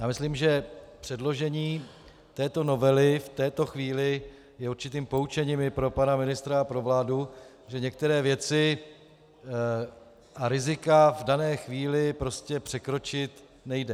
Já myslím, že předložení této novely v této chvíli je určitým poučením i pro pana ministra a pro vládu, že některé věci a rizika v dané chvíli prostě překročit nejde.